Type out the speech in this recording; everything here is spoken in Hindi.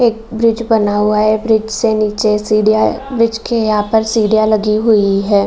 एक ब्रिज बना हुआ है | ब्रिज से नीचे सीढ़ियां है | ब्रिज के यहाँ पर सीढ़ियां लगी हुई है |